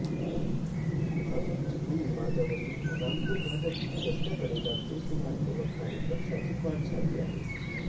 गुहागर चिपळूण मार्गावरील रामपूर घाटातील रस्त्याकडेला बेसुमार गवत आणि वृक्षाची वाढ झाली आहे